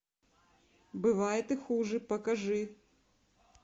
бывает и хуже покажи